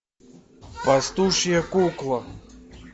пастушья кукла